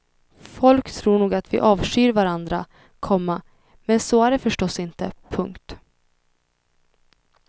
Folk tror nog att vi avskyr varandra, komma men så är det förstås inte. punkt